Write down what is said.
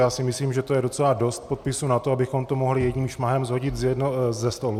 Já si myslím, že to je docela dost podpisů na to, abychom to mohli jedním šmahem shodit ze stolu.